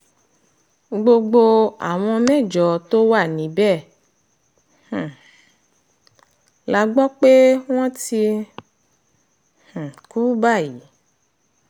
gbogbo àwọn mẹ́jọ tó wà níbẹ̀ um la gbọ́ pé wọ́n ti um kú báyìí